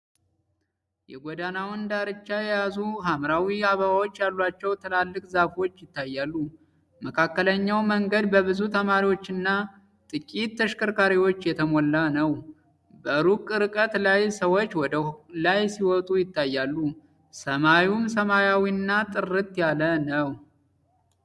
የጎዳናውን ዳርቻ የያዙ ሐምራዊ አበባዎች ያሏቸው ትላልቅ ዛፎች ይታያሉ። መካከለኛው መንገድ በብዙ ተማሪዎችና ጥቂት ተሽከርካሪዎች የተሞላ ነው። በሩቅ ርቀት ላይ ሰዎች ወደ ላይ ሲወጡ ይታያሉ፣ ሰማዩም ሰማያዊና ጥርት ያለ ነው።